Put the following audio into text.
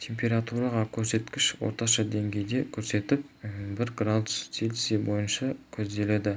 температура көрсеткіші орташа деңгейді көрсетіп бір градус цельсий бойынша көзделеді